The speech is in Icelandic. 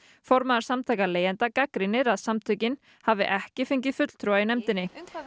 formaður samtaka leigjenda gagnrýnir að samtökin hafi ekki fengið fulltrúa í nefndinni